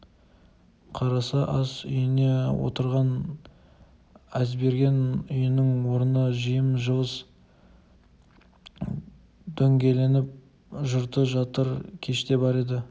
қараса ас үйіне отырған әзберген үйінің орны жым-жылас дөңгеленіп жұрты жатыр кеште бар еді